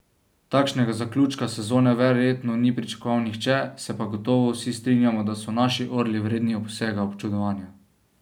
Takšnega zaključka sezone verjetno ni pričakoval nihče, se pa gotovo vsi strinjamo, da so naši orli vredni vsega občudovanja.